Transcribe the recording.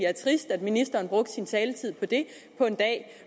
er trist at ministeren brugte sin taletid på det på en dag